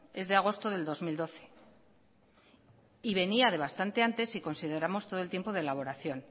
es de agosto del dos mil doce y venía de bastante antes si consideramos todo el tiempo de elaboración